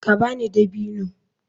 Ka ba ni dabino.